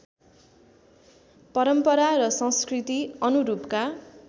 परम्परा र संस्कृति अनुरूपका